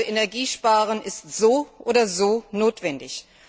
Energiesparen ist so oder so notwendig.